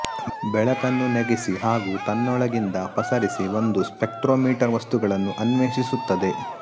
ಬೆಳಕನ್ನು ನೆಗೆಸಿ ಹಾಗೂ ತನ್ನೋಳಗಿಂದ ಪಸರಿಸಿ ಒಂದು ಸ್ಪೆಕ್ಟ್ರೋಮಿಟರ್ ವಸ್ತುಗಳನ್ನು ಅನ್ವೇಶಿಸುತ್ತದೆ